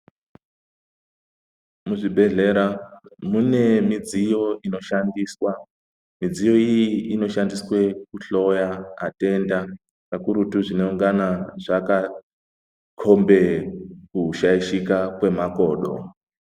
Kuzvibhedhlera mune midziyo inoshandiswa midziyo iyi inoshandiswe kuhloya matenda kakurutu zvinongana zvakakombe kushayishike kwemakodo.